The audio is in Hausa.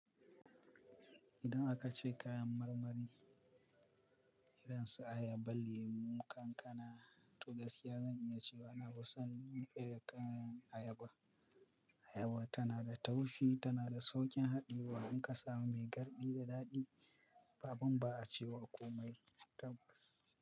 Idan aka ce kayan marmari, irin su ayaba, lemu, kankana to gaskiya zan iya cewa nafi son irin kayan ayaba. Ayaba tana da taushi tana da saƙin haɗiyewa in ka samu mai garɗi da daɗi. Abun ba a cewa komai tabbas.